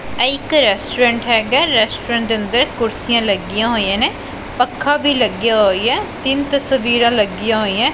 ਇਹ ਇਕ ਰੈਸਟੋਰੈਂਟ ਹੈਗਾ ਰੈਸਟੋਰੈਂਟ ਦੇ ਅੰਦਰ ਕੁਰਸੀਆਂ ਲੱਗੀਆਂ ਹੋਈਆਂ ਨੇ ਪੱਖਾ ਵੀ ਲੱਗਿਆ ਹੋਈਆ ਹੈ ਤਿੰਨ ਤਸਵੀਰਾਂ ਲੱਗੀਆਂ ਹੋਈਆਂ।